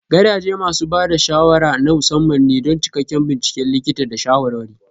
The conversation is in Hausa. Gadaje masu ba da shawara na musamman ne don cikakken binciken likita da shawarwari.